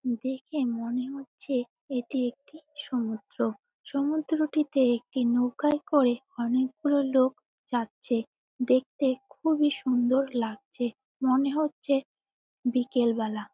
দেখে মনে হচ্ছে এটি একটি সমুদ্র সমুদ্রটিতে একটি নৌকায় করে অনেকগুলো লোক যাচ্ছে। দেখতে খুবই সুন্দর লাগছে। মনে হচ্ছে বিকেল বেলা।